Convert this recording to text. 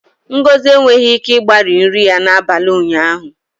Ngozi enweghị ike igbari nri ya n'abalị ụnyaahụ